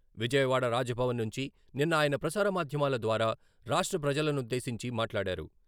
విజయవాడ రాజభవన్ నుంచి నిన్న ఆయన ప్రసార మాధ్యమాల ద్వారా రాష్ట్ర ప్రజలనుద్దేశించి మాట్లాడారు.